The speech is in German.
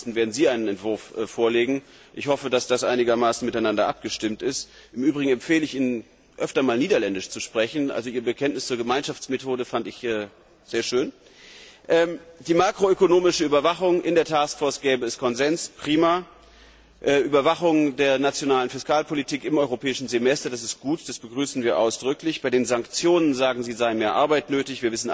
27. werden Sie einen Entwurf vorlegen. Ich hoffe, dass das einigermaßen miteinander abgestimmt ist. Im Übrigen empfehle ich Ihnen, öfter mal Niederländisch zu sprechen Ihr Bekenntnis zur Gemeinschaftsmethode fand ich sehr schön. Zur makroökonomischen Überwachung In der Taskforce gebe es Konsens prima! Überwachung der nationalen Fiskalpolitik im europäischen Semester das ist gut, das begrüßen wir ausdrücklich. Bei den Sanktionen, sagen Sie, sei mehr Arbeit